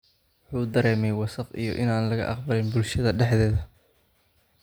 Wuxuu dareemay wasakh iyo inaan laga aqbalin bulshada dhexdeeda.